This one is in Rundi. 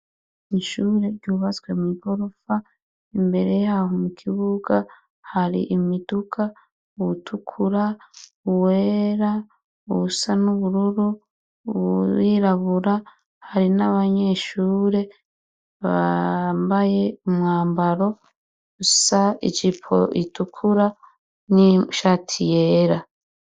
Ishure ryubatswe mw'igorofa imbere yaho mu kibuga hari imiduka, uwutukura, uwera, uwusa n'ubururu, uwirabura, hari n'abanyeshure bambaye umwambaro usa, ijipo itukura n'ishati yera.